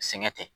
Sɛŋɛ tɛ